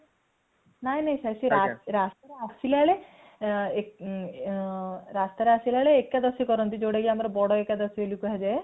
ନାଇଁ ନାଇଁ sir ସେ ରାସ୍ତା ଆସିଲା ବେଳେ ଏକାଦଶୀ ବୋଲି କରନ୍ତି ଯୋଉଟ ଆମର ବଡ ଏକାଦଶୀ ବୋଲି କୁହାଯାଏ